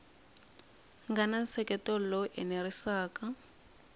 nga na nseketelo lowu enerisaka